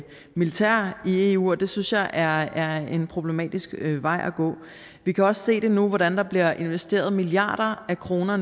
militær i eu og det synes jeg er er en problematisk vej at gå vi kan også se det nu på hvordan der bliver investeret milliarder af kroner